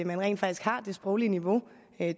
man rent faktisk har det sproglige niveau